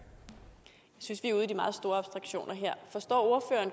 synes vi er ude i de meget store abstraktioner her forstår